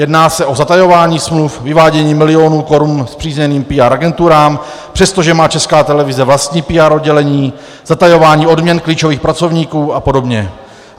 Jedná se o zatajování smluv, vyvádění milionů korun spřízněným PR agenturám, přestože má Česká televize vlastní PR oddělení, zatajování odměn klíčových pracovníků a podobně.